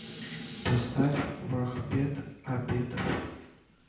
поставь вахбет абедов